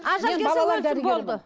ажал келсе өлсін болды